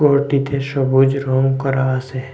ঘরটিতে সবুজ রং করা আছে।